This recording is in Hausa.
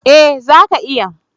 Eh, zaka iya.